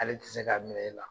Ale tɛ se k'a minɛ e la.